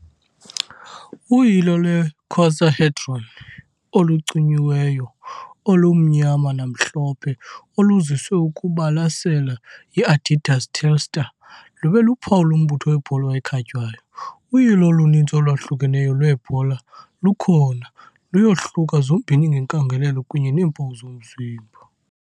Uyilo lwe -icosahedron olucinyiweyo olumnyama-namhlophe, oluziswe ukubalasela yi- Adidas Telstar, lube luphawu lombutho webhola ekhatywayo . Uyilo oluninzi olwahlukeneyo lweebhola lukhona, luyohluka zombini ngenkangeleko kunye neempawu zomzimba.